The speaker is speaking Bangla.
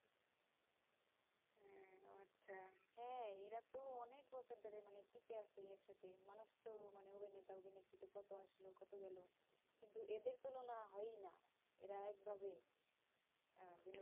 আচ্ছা এরাতো অনিক বছর ধরে টিকে আছে মানুষ তো মানে কত আসলো কত গেলো কিন্তু এদের তুলোনা হয়ই না এরা এক ভাবে আহ